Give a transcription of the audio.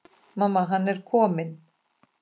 Mamma, hann er kominn!